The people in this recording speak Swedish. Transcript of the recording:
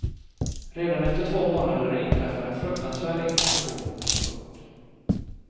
Redan efter två månader inträffade en fruktansvärd explosion. punkt